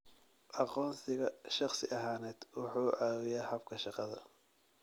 Aqoonsiga shakhsi ahaaneed wuxuu caawiyaa habka shaqada.